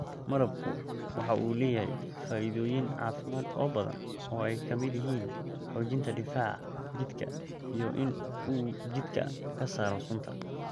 Malabku waxa uu leeyahay faa�iidooyin caafimaad oo badan oo ay ka mid yihiin xoojinta difaaca jidhka iyo in uu jidhka ka saaro sunta.